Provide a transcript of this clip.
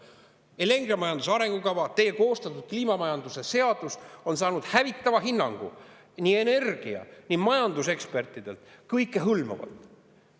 Energiamajanduse arengukava, teie koostatud kliima majanduse seadus on saanud hävitava hinnangu nii energia- kui ka majandusekspertidelt – kõikehõlmavalt.